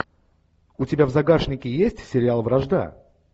у тебя в загашнике есть сериал вражда